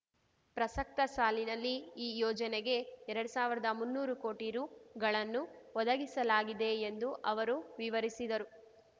ಪ್ರಸಕ್ತ ಸಾಲಿನಲ್ಲಿ ಈ ಯೋಜನೆಗೆ ಎರಡ್ ಸಾವಿರ್ದಮುನ್ನೂರು ಕೋಟಿ ರೂ ಗಳನ್ನು ಒದಗಿಸಲಾಗಿದೆ ಎಂದು ಅವರು ವಿವರಿಸಿದರು